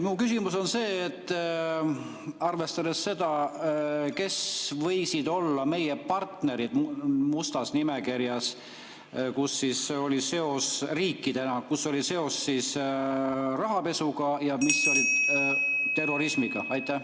Mu küsimus on see: arvestades seda, kes võisid olla meie partnerid mustas nimekirjas – riikidena –, kus oli seos rahapesuga ja mis oli seotud terrorismiga?